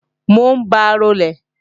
Mò ń ba rolè